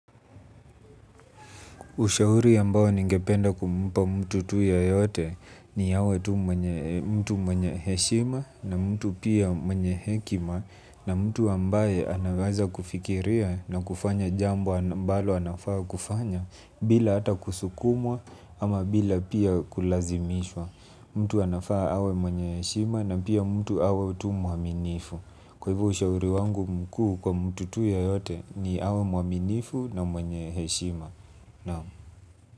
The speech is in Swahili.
Ushauri ambao ningependa kumpa mtu tu yeyote ni awe tu mtu mwenye heshima na mtu pia mwenye hekima na mtu ambaye anaweza kufikiria na kufanya jambo ambalo anafaa kufanya bila ata kusukumwa ama bila pia kulazimishwa. Mtu anafaa awe mwenye heshima na pia mtu awe tu mwaminifu. Kwa hivo ushauri wangu mkuu kwa mtu tu yeyote ni awe mwaminifu na mwenye heshima. No.